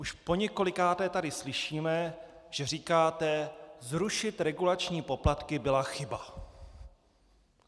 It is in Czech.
Už poněkolikáté tady slyšíme, že říkáte "zrušit regulační poplatky byla chyba".